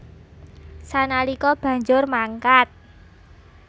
Sanalika banjur mangkat